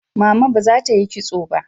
Mama ba za ta yi kitso ba.